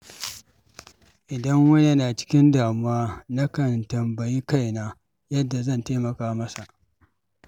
Idan wani yana cikin damuwa, nakan tambayi kaina yadda zan taimaka masa.